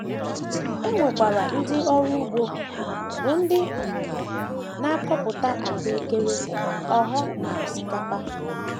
E nwekwara ndị ọrụ ugbo, bụ́ ndị um na - akọpụta ahụekere, ogho, na osikapa.